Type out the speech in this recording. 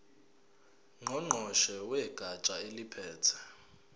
ngqongqoshe wegatsha eliphethe